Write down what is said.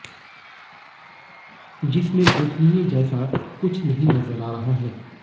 जिसमें गोपनीय जैसा कुछ नहीं नजर आ रहा है